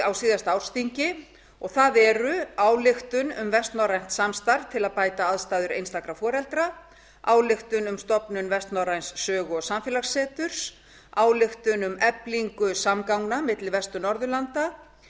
á síðasta ársþingi það eru ályktun um vestnorrænt samstarf til að bæta aðstæður einstæðra foreldra ályktun um stofnun vestnorræns sögu og samfélagsseturs ályktun um eflingu samgangna milli vestur norðurlanda